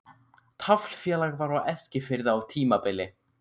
Taflfélag var á Eskifirði á tímabili.